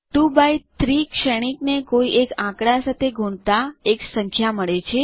2એક્સ3 શ્રેણિક ને કોઈ એક આંકડા સાથે ગુણતા એક સંખ્યા મળે છે